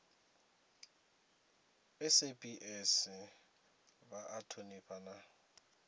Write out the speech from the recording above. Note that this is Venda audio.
saps vha a thonifha na